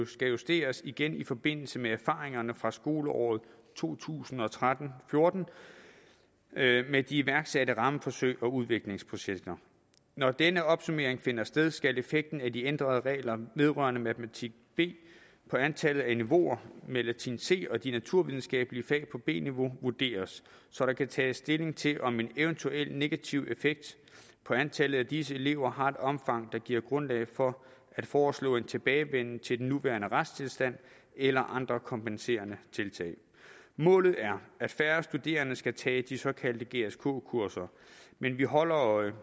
skal justeres igen i forbindelse med erfaringerne fra skoleåret to tusind og tretten med med de iværksatte rammeforsøg og udviklingsprojekter når denne opsummering finder sted skal effekten af de ændrede regler vedrørende matematik b på antallet af niveauer med latin c og de naturvidenskabelige fag på b niveau vurderes så der kan tages stilling til om en eventuel negativ effekt på antallet af disse elever har et omfang der giver grundlag for at foreslå en tilbagevenden til den nuværende retstilstand eller andre kompenserende tiltag målet er at færre studerende skal tage de såkaldte gsk kurser men vi holder øje